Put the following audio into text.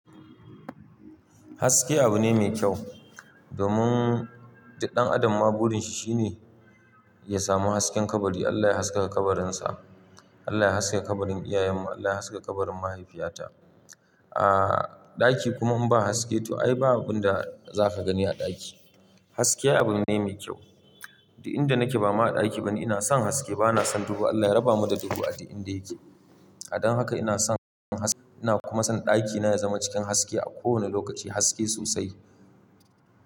Haske abu ne mai kyau. Domin, duk ɗan adam ma burin shi shine ya samu hasken kabari. Allah ya haskaka kabarinsa. Allah ya haskaka kabarin iyayen mu. Allah ya haskaka kabarin mahaifiyata. Aaa, ɗaki kuma in ba haske to ai ba abin da zaka gani a ɗaki. Haske abu ne mai kyau. Duk inda nake ba ma a ɗaki bani. Ina son haske bana son duhu. Allah ya raba mu da duhu a duk inda yake. Don haka ina son haske ina kuma son ɗakina ya zama cikin haske a kowane lokaci. Haske sosai.